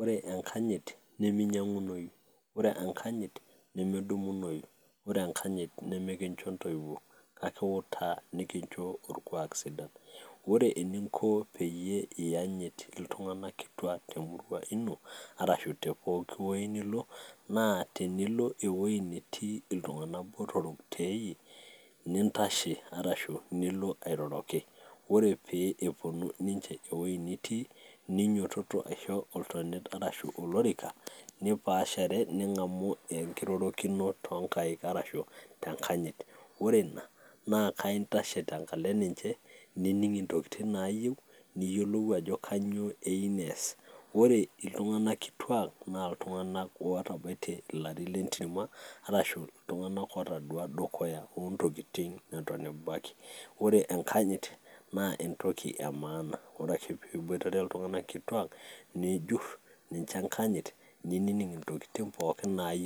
Ore enkanyit niminyang'unoyu nemedumunoyu, nimikicho intoiwuo kake ekiutaa nikicho orkuak sidai , ore pee iyanyit iltung'anak kituak temurua ino arashu teweji pooki nilo tinilo eweji netii iltung'anak botorok teiyie, nintashe arashu nilo airoroki ore peee epuonu niche weji nitii nijototo aisho entonata ashu olorika niroroki tenkaina aitobiraki, nining'u enejito amu ore iltung'anak kituaak naa itung'anak ootabatie ilaein letirma, iltung'anak ootodua intokitin tedukuya , ore enkajit naa entoki sidai